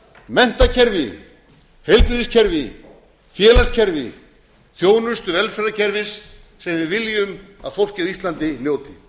menntakerfi heilbrigðiskerfi félagskerfi þjónustu velferðarkerfis sem við viljum að fólkið á íslandi njóti